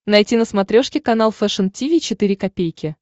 найти на смотрешке канал фэшн ти ви четыре ка